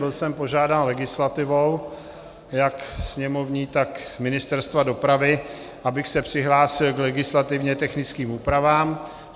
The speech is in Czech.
Byl jsem požádán legislativou jak sněmovní, tak Ministerstva dopravy, abych se přihlásil k legislativně technickým úpravám.